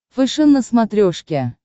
фэшен на смотрешке